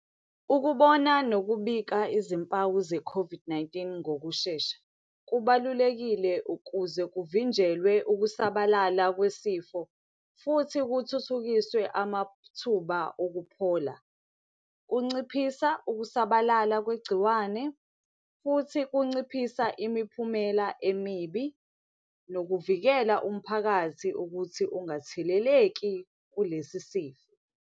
Ukubona nokubika izimpawu ze-COVID-19 ngokushesha. Kubalulekile ukuze kuvinjelwe ukusabalala kwesifo, futhi kuthuthukiswe amathuba okuphola. Kunciphisa ukusabalala kwegciwane, futhi kunciphisa imiphumela emibi, nokuvikela umphakathi ukuthi ungatheleleki kulesi sifo.